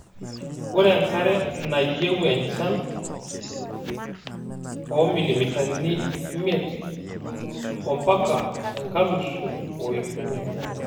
Ore enkare neyieu enchan oo milimitani ipmiet ompaka ekalusu oip miet.